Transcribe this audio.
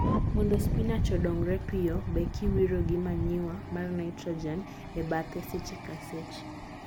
Mondo spinach odongre piyo, be kiwiro gi manure mar nitrogen e bathe seche ka seche.